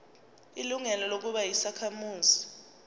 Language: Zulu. ilungelo lokuba yisakhamuzi